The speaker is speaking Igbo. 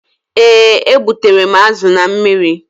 Ee, e gbutere m azu na mmiri